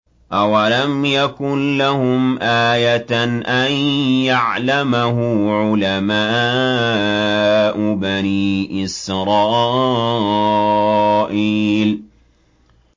أَوَلَمْ يَكُن لَّهُمْ آيَةً أَن يَعْلَمَهُ عُلَمَاءُ بَنِي إِسْرَائِيلَ